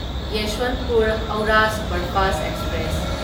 Yesvantpur Howrah superfast express